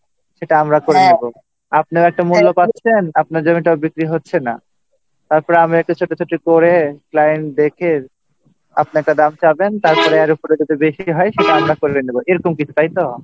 সেটা আমরা করে দেব আপনারা একটা মূল্য পাচ্ছেন আপনার জমিটা বিক্রি হচ্ছে না তারপরে আমরা একটু ছুটোছুটি করে Client ডেকে আপনি একটা দাম চাইবেন তারপরে এর উপরে যদি বেশি হয় সেটা আমরা করে নেব এরকম কিছু তাই তো